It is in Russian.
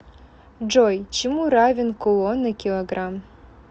джой чему равен кулон на килограмм